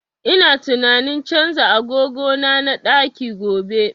Ina tunanin canza agogo na na ɗaki gobe